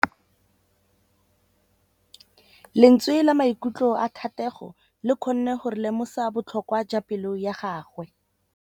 Lentswe la maikutlo a Thategô le kgonne gore re lemosa botlhoko jwa pelô ya gagwe.